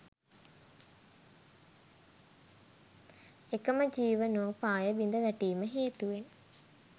එකම ජීවනෝපාය බිඳවැටීම හේතුවෙන්